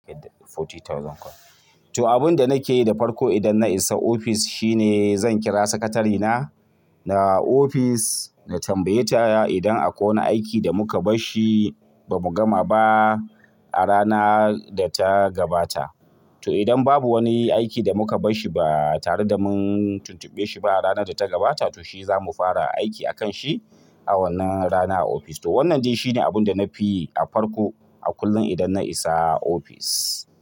To abun da na ke yi da farko idan na isa ofis shi ne zan kira sakatarena na ofis na tambaye ta idan akwai wani aiki da mu ka bash shi ba mu gama ba a rana da ta gabata. To idan babu wani aiki da mu ka bash shi ba tare da mun tuntuɓe shi ba a ranar da ta gabata to shi za mu fara aiki a kan shi a wannan rana a ofis. To wannan dai shi ne abun da na fi yi a farko a kullum idan na isa ofis.